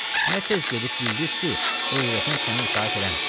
Nə tez gedib bildiz ki, övrətin səni itaət eləmir.